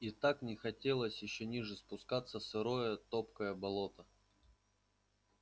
и так не хотелось ещё ниже спускаться в сырое топкое болото